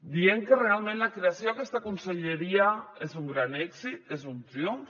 dient que realment la creació d’aquesta conselleria és un gran èxit és un triomf